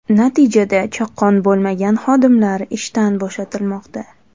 Natijada chaqqon bo‘lmagan xodimlar ishdan bo‘shatilmoqda.